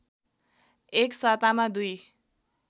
एक सातामा दुई